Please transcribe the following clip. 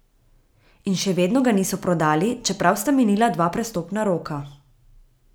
In še vedno ga niso prodali, čeprav sta minila dva prestopna roka.